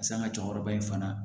San ŋa cɛkɔrɔba in fana